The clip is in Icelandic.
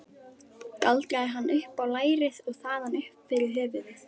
Galdraði hann upp á lærið og þaðan upp fyrir höfuðið.